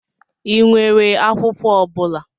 Ị nwere akwụkwọ ọ bụla?